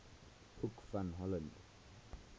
hoek van holland